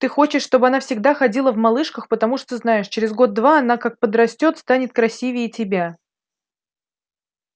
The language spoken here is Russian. ты хочешь чтобы она всегда ходила в малышках потому что знаешь через год-два она как подрастёт станет красивее тебя